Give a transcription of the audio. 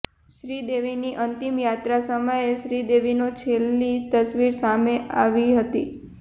શ્રીદેવીની અંતિમયાત્રા સમયે જ શ્રીદેવીનો છેલ્લી તસવીર સામે આવી હતી